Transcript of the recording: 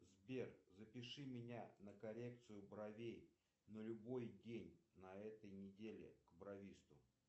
сбер запиши меня на коррекцию бровей на любой день на этой неделе к бровисту